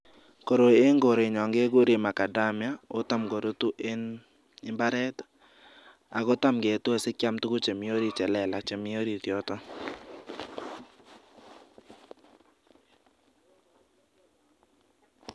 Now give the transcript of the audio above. Koroi en korenyon kekuren macadamia o tam korutu en mbaret ako tam ketue sikyam tuguk chelelach chemi orit yoton.